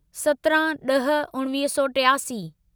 सतिरहाँ ड॒ह उणिवीह सौ टियासी